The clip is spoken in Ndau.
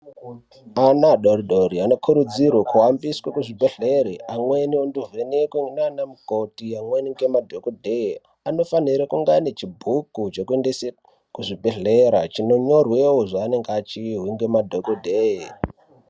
Ana adodori-dori anokurudzirwe kuhambiswa kuzvibhedhlere aende kunovhenekwe ndiana mukoti, amweni ngemadhogodhere. Anofanira kunge anechibhuku chekuendese kuzvibhedhlera chinonyorwewo zvanenge achirwe nemadhogodheye.